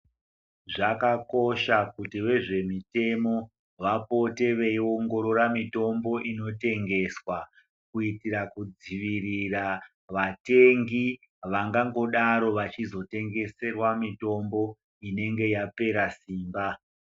Zvakakosha kuti vezvemitemo vapote veiongorora mitombo inotengeswa, kuitira kudzivirira vatengi vangangodaro vachizotengeserwa mitombo inenge yapera simba.